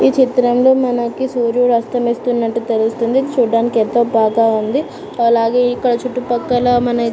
ఈ చిత్రం లో మనకి సూర్యుడు అస్తమిస్తున్నటు తెలుస్తుంది చూడడానికి ఎంతో బాగా ఉంది సో అలాగే ఇక్కడ చుట్టూ పక్కల మన --